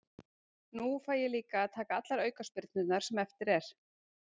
Nú fæ ég líka að taka allar aukaspyrnurnar sem eftir er.